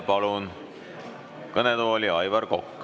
Palun kõnetooli Aivar Koka.